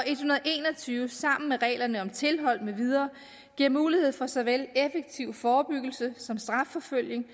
tyve sammen med reglerne om tilhold med videre giver mulighed for såvel effektiv forebyggelse som strafforfølgning